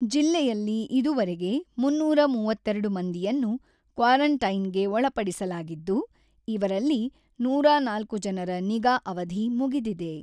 ಜಿಲ್ಲೆಯಲ್ಲಿ ಇದುವರೆಗೆ ಮೂನ್ನೂರ ಮೂವತ್ತೆರಡು ಮಂದಿಯನ್ನು ಕ್ವಾರೆಂಟೈನ್‌ಗೆ ಒಳಪಡಿಸಲಾಗಿದ್ದು, ಇವರಲ್ಲಿ ನೂರ ನಾಲ್ಕು ಜನರ ನಿಗಾ ಅವಧಿ ಮುಗಿದಿದೆ.